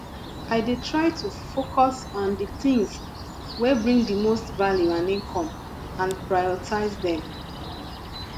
i dey try to focus on di tings wey bring di most value and income and prioritize dem